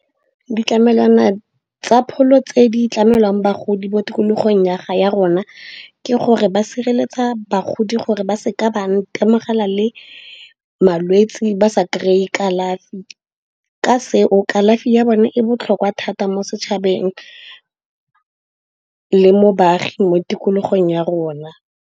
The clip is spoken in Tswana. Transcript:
Ditlamelwana tsa pholo tse di tlamelwang bagodi mo tikologong ya ga ya rona ke gore ba sireletsa bagodi gore ba seka ba itemogela le malwetse ba sa kry-e kalafi. Ka seo kalafi ya bone e botlhokwa thata mo setšhabeng le mo baagi mo tikologong ya rona.